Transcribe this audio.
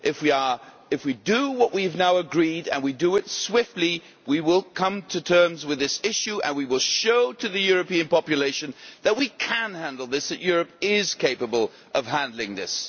If we do what we have now agreed, and we do it swiftly, we will come to terms with this issue and we will show the European population that we can handle this and that Europe is capable of handling this.